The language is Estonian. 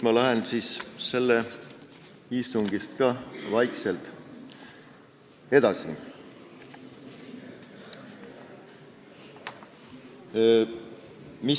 Ma lähen vaikselt edasi.